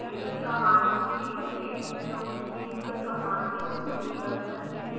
command history पहले उपयोग किये हुए commands को सूचीबद्ध करती है